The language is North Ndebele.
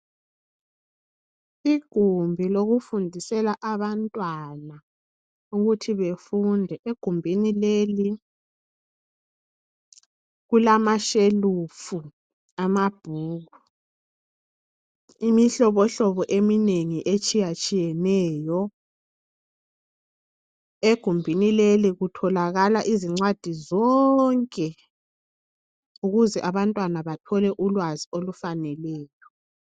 Igumbi lokufundisela abantwana ukuthi befunde egumbini leli kulama shelufu amabhuku imihlohlobo eminengi etshiyatshiyeneyo egumbini leli kutholakala incwadi zonke ukuze abantwana bathole ulwazi olufaneleyo.